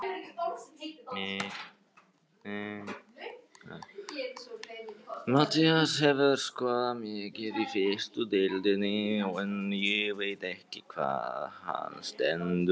Matthías hefur skorað mikið í fyrstu deildinni en ég veit ekki hvar hann stendur.